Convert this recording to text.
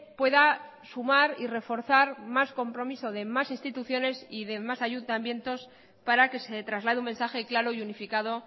pueda sumar y reforzar más compromiso de más instituciones y de más ayuntamientos para que se traslade un mensaje claro y unificado